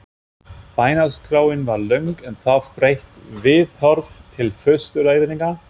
Bænaskráin var löng en þarf breytt viðhorf til fóstureyðinga?